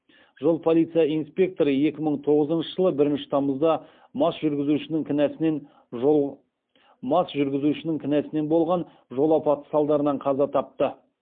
жол полиция инспекторы екі мың тоғызыншы жылы бірінші тамызда мас жүргізушінің кінәсінен болған жол апаты салдарынан қаза тапты